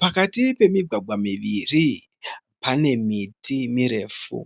Pakati pemigwagwa miviri. Pane miti mirefu.